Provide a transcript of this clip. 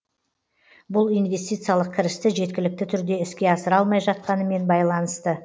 бұл инвестициялық кірісті жеткілікті түрде іске асыра алмай жатқанымен байланысты